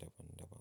daban daban.